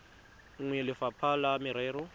nngwe ya lefapha la merero